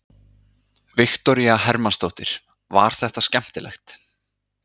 Viktoría Hermannsdóttir: Var þetta skemmtilegt?